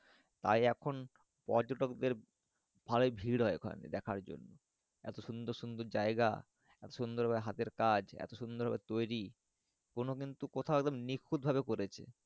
আর এখন পর্যটক দেড় ভালো ভিড় হয় ওখানে দেখার জন্য এত সুন্দর সুন্দর যাই গা এত সুন্দর হাতের কাজ এত সুন্দর তৈরি কোনো কিন্তু কিন্তু কোথায় নিখুঁত ভাবে করেছে।